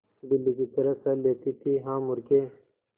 बिल्ली की तरह सह लेती थीहा मूर्खे